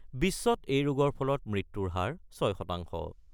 বিশ্বত এই ৰোগৰ ফলত মৃত্যুৰ হাৰ ৬ শতাংশ।